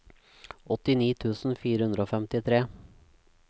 åttini tusen fire hundre og femtitre